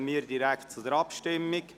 Somit kommen wir zur Abstimmung.